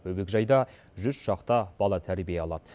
бөбекжайда жүз шақты бала тәрбие алады